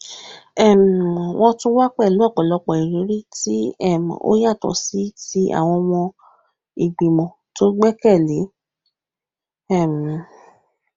um wọn tún wá pẹlú òpòlọpò ìrírí tí um ó yàtọ sí ti àwọn ọmọ ìgbìmọ tó gbẹkẹlé um